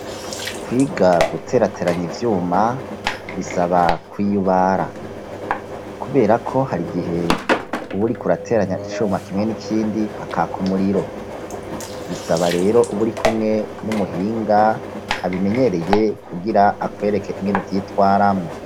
Kwiga guterateranya ivyuma bisaba kwiyubara. Kubera ko hari igihe uburi kurateranya icuma kimwe n'ikindi hakaka umuriro, bisaba rero uburi kumwe n'umuhinga abimenyereye kugira akwereka inkenu vyitwaramwo.